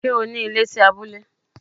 Ṣé o ní ilé sí abúlé?